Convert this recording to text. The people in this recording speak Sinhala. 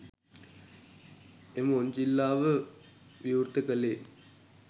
එම ඔන්චිල්ලාව විවෘත කළේ